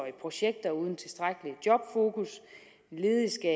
i projekter uden tilstrækkeligt jobfokus ledige skal